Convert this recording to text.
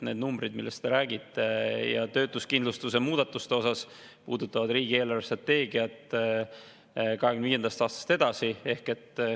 Need numbrid, millest te räägite, ja töötuskindlustuse muudatus puudutavad riigi eelarvestrateegiat aastaks 2025 ja edasi.